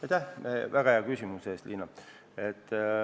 Aitäh väga hea küsimuse eest, Liina!